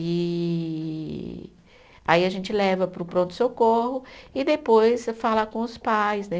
E aí a gente leva para o pronto-socorro e depois fala com os pais, né?